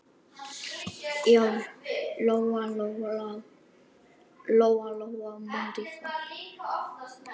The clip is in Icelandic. Já, Lóa-Lóa mundi það.